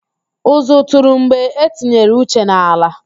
Ụzụ tụrụ mgbe e tinyere Uche n'ala